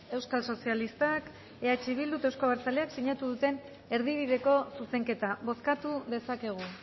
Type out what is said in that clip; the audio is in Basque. euskal sozialistak eh bildu eta euzko abertzaleak sinatu duten erdibideko zuzenketa bozkatu dezakegu